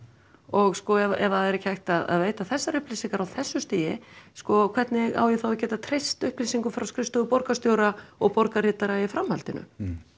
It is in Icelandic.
og ef sko það er ekki hægt að veita þessar upplýsingar á þessu stigi sko hvernig á ég þá að geta treyst upplýsingum frá skrifstofu borgarstjóra og borgarritara í framhaldinu